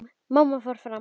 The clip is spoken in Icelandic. Mamma fór fram.